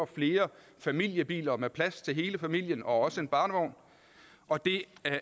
flere familiebiler med plads til hele familien og også en barnevogn og det